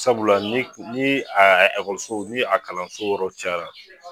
Sabula ni ni a ɛkɔliso ni a kalanso yɔrɔ cayara